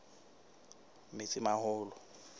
metsimaholo